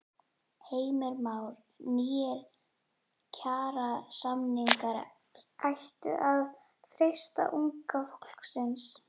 Heimir Már: Nýir kjarasamningar ættu að freista unga fólksins?